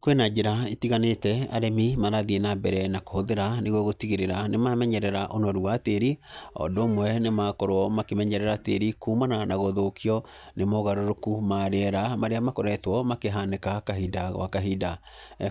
Kwĩna njĩra itiganĩte arĩmi marathiĩ na mbere na kũhũthĩra nĩguo gũtigĩrĩra nĩ mamenyerera ũnoru wa tĩri, o ũndũ ũmwe nĩ makorwo makĩmenyerera tĩri kumana na gũthũkio nĩ mogarũrũku ma rĩera marĩa makoretwo makĩhanĩka kahinda gwa kahinda.